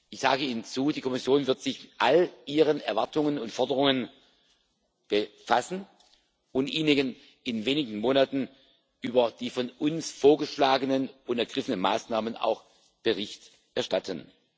Ich sage Ihnen zu Die Kommission wird sich mit all Ihren Erwartungen und Forderungen befassen und Ihnen in wenigen Monaten über die von uns vorgeschlagenen und ergriffenen Maßnahmen auch Bericht erstatten.